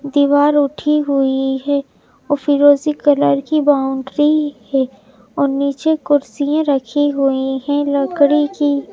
दीवार उठी हुई है और फिरोजी कलर की बाउंड्री है और नीचे कुर्सियाँ रखी हुई हैं लकड़ी की --